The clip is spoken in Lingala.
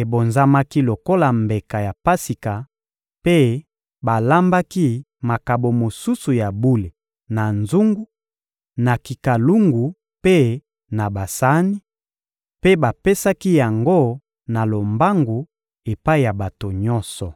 ebonzamaki lokola mbeka ya Pasika mpe balambaki makabo mosusu ya bule na nzungu, na kikalungu mpe na basani; mpe bapesaki yango na lombangu epai ya bato nyonso.